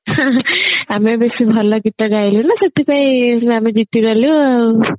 ଆମେ ବେସୀ ଭଲ ଗୀତ ଗଇଲେ ନା ସେଥିପାଇଁ ଆମେ ଜିତି ଗଲେ ଆଉ